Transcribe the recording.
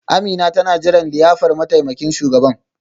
Amina tana jiran liyafar mataimakin shugaban.